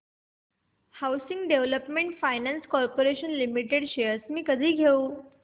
housing development finance corporation limited shares मी कधी घेऊ